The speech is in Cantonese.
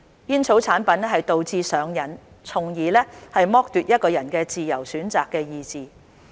煙草產品導致上癮，從而剝奪一個人的自由選擇的意志。